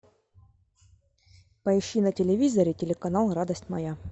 поищи на телевизоре телеканал радость моя